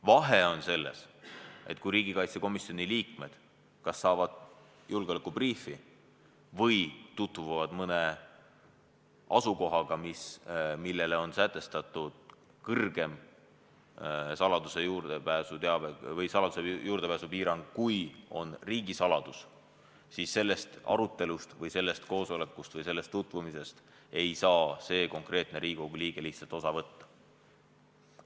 Vahe on selles, et kui riigikaitsekomisjoni liikmed kas saavad julgeolekubriifi või tutvuvad mõne asukohaga, millele on sätestatud kõrgem saladuse juurdepääsu piirang, kui on riigisaladus, siis sellest arutelust või sellest koosolekust või sellest tutvumisest ei saa see konkreetne Riigikogu liige lihtsalt osa võtta.